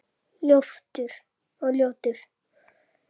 Og ljótur.